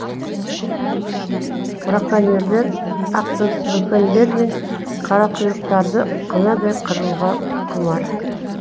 браконьерлер ақбөкендер мен қарақұйрықтарды қынадай қыруға құмар